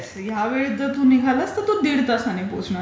की या वेळी जर टू निघालास तर तू दीड तासांनी पोहोचणार आहे.